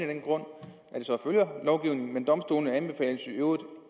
den grund at det så følger lovgivningen men domstolene anbefales i øvrigt